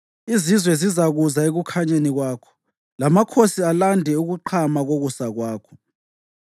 Izizwe zizakuza ekukhanyeni kwakho, lamakhosi alande ukuqhama kokusa kwakho.